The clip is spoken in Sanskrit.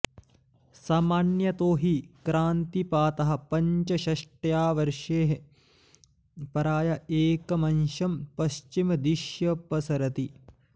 सामान्यतो हि क्रान्तिपातः पञ्चषष्ट्या वर्षेः प्राय एकमंशं पश्चिमदिश्यपसरति